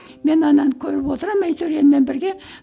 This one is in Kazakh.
мен ананы көріп отырамын әйтеуір елмен бірге